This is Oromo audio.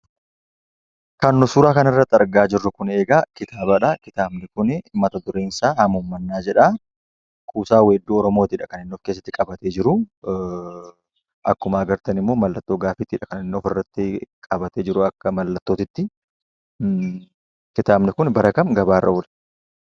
Kan nuti suuraa kana irratti argaa jirru egaa kitaabadha. Kitaabni kun mata-dureen isaa "Hamuummannaa" jedha. Kuusaa weessuu Oromoodha kan inni of keessatti qabatee jiru. Akkuma argitan immoo maallattoo gaaffiidha kan inni qabatee jiru; akka mallattootti. Kitaabni kun bara kam gabaa irra oole?